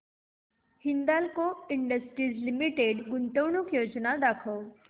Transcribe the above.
Hindalco industries limited गुंतवणूक योजना दाखव